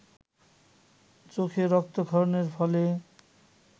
চোখে রক্তক্ষরণের ফলে